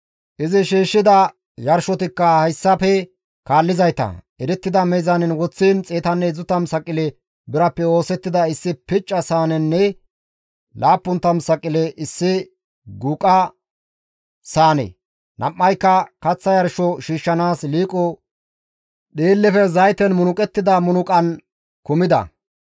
Izi shiishshida yarshotikka hayssafe kaallizayta, erettida meezaanen woththiin 130 saqile birappe oosettida issi picca saanenne 70 saqile issi guuqa saane, nam7ayka kaththa yarsho shiishshanaas liiqo dhiillefe zayten munuqettida munuqan kumida.